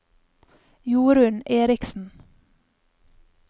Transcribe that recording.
Jorunn Erichsen